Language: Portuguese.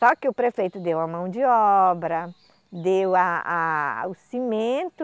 Só que o prefeito deu a mão de obra, deu a a o cimento,